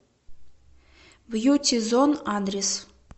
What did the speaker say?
бьюти зон адрес